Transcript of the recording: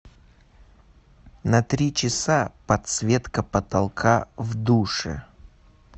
на три часа подсветка потолка в душе